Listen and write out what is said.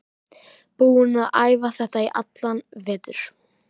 Búinn að æfa þetta í allan vetur.